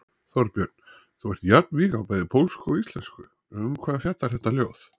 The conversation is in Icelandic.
Þorbjörn: Þú ert jafnvíg á bæði pólsku og íslensku, um hvað fjallar þetta ljóð?